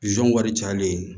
Zon wari cayalen